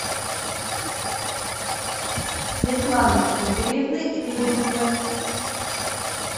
светланы игоревны лебедевой